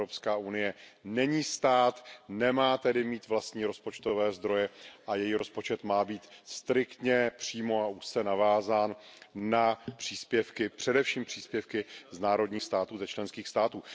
Evropská unie není stát, nemá tedy mít vlastní rozpočtové zdroje a její rozpočet má být striktně, přímo a úzce navázán na příspěvky, především příspěvky z národních států, ze členských států.